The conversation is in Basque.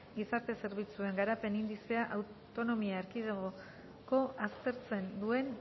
gizarte zerbitzuen garapen indizea autonomia erkidegoka aztertzen duen